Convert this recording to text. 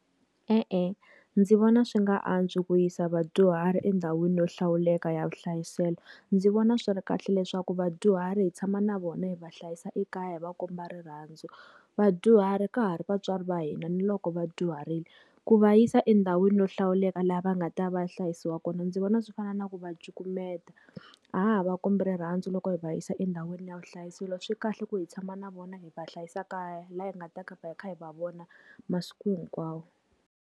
E-e, ndzi vona swi nga antswi ku yisa vadyuhari endhawini yo hlawuleka ya vuhlayiselo. Ndzi vona swi ri kahle leswaku vadyuhari hi tshama na vona hi va hlayisa ekaya hi va komba rirhandzu. Vadyuhari ka ha ri vatswari va hina ni loko va dyuharile, ku va yisa endhawini yo hlawuleka laha va nga ta va ya hlayisiwa kona ndzi vona swi fana na ku va cukumeta. A ha ha va kombi rirhandzu loko hi va yisa endhawini ya vuhlayiselo. Swi kahle ku hi tshama na vona hi va hlayisa kaya laha hi nga ta hi kha hi va vona masiku hinkwawo.